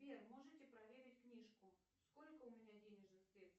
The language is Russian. сбер можете проверить книжку сколько у меня денежных средств